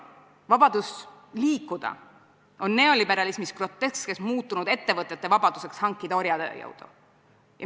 Vabadus liikuda on neoliberalismis groteskselt muutunud ettevõtete vabaduseks hankida orjatööjõudu.